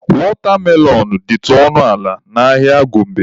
Wọtamelọn dịtụ ọnụ ala n'ahịa Gombe.